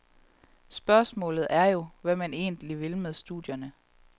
Spørgsmålet er jo, hvad man egentlig vil med studierne.